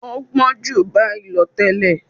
ọ́ gbọ́n ju báyìí lọ tẹ́lẹ̀.